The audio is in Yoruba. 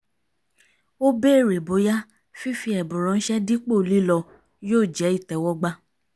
ó bèrè bóyá fífi ẹ̀bùn ránṣẹ́ dípò lílọ yóò jẹ́ ìtẹ́wọ́gbà